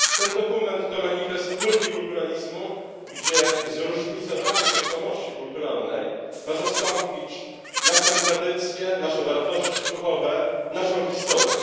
Ten dokument to manifest multikulturalizmu, gdzie zróżnicowanie tożsamości kulturalnej ma zastąpić naszą tradycję, nasze wartości duchowe, naszą historię.